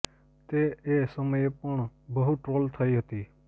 તે એ સમયે પણ બહુ ટ્રોલ થઈ હતી